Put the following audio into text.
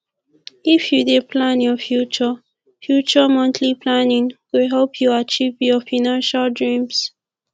if you dey plan your future future monthly planning go help you achieve your financial dreams